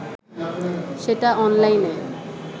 সেটা অনলাইনে